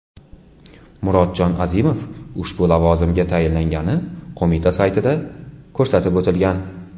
Murodjon Azimov ushbu lavozimga tayinlangani qo‘mita saytida ko‘rsatib o‘tilgan .